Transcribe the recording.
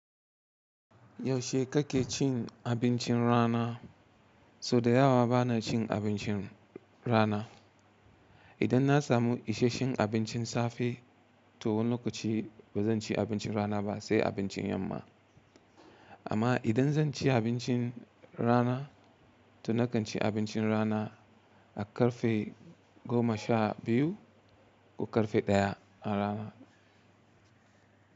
Yaushe kake cin abincin rana? So da yawa bana cin abincin rana. Idan na samu isasshen abincin safe, to wani lokaci ba zan ci abincin rana ba, sai abincin yamma. Amma idan zan ci abincin rana, to na kan ci abincin rana a karfe goma sha biyu ko karfe ɗaya na rana.